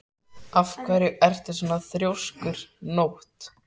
Af hverju ertu svona þrjóskur, Nótt?